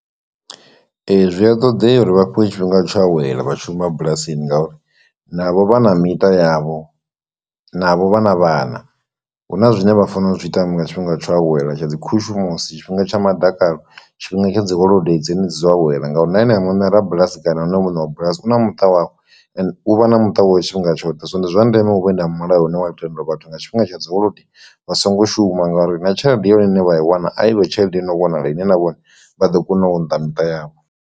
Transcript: Ee, zwi a ṱoḓea uri vha fhiwe tshifhinga tsho awela vha tshi shuma bulasini ngauri navho vha na miṱa yavho, navho vha na vhana, huna zwine vha fanela u zwitama nga tshifhinga tsho awela tsha dzi khushumusi tshifhinga tsha madakanlo tshifhinga tsha dzi holodei dzine dzi dzo awela nga uri na ene muṋe ra bulasi kana hu no muṋe wa bulasi una muṱa wawe and u vha na muṱa wawe tshifhinga tshoṱhe, so ndi zwa ndeme u vhe na mulayo une wa tendo vhathu nga tshifhinga tsha dzi holodei vha songo shuma ngori na tshelede ya hone ine vha i wana a ivhe tshelede i no vhonala ine na vhone vha ḓo kona u nḓa miṱa yavho.